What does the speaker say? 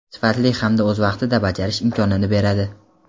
sifatli hamda o‘z vaqtida bajarish imkonini beradi.